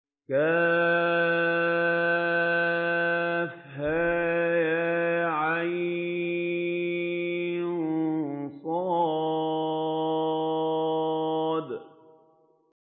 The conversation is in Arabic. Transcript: كهيعص